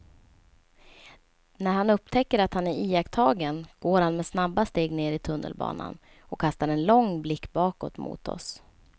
När han upptäcker att han är iakttagen går han med snabba steg ner i tunnelbanan och kastar en lång blick bakåt mot oss.